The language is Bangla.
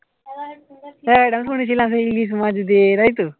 হ্যা এটা আমি শুনেছিলাম সেই ইলিশ মাছ দিয়ে তাই তো